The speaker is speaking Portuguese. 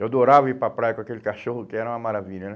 Eu adorava ir para praia com aquele cachorro, que era uma maravilha, né?